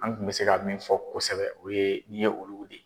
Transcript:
An kun bɛ se ka min fɔ kosɛbɛ o ye nin ye olugu de ye.